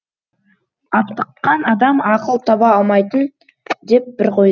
аптыққан адам ақыл таба алмайтын деп бір қой